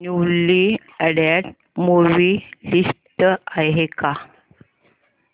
newly added movie list आहे का